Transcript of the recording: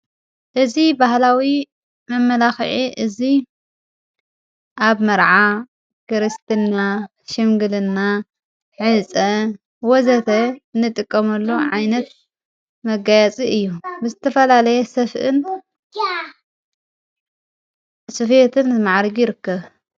እዝ በህላዊ መመላኽዒ እዙይ ኣብ መርዓ ክርስትና ሽምግልና ዕፀ ወዘተ ንጥቆመሎ ዓይነት መጋያፂ እዩ ብስትፈላለየ ሰፍእን ስፍትን ዘመዓሪ ይርክብ።